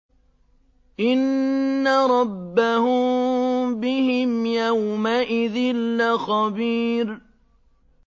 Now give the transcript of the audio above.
إِنَّ رَبَّهُم بِهِمْ يَوْمَئِذٍ لَّخَبِيرٌ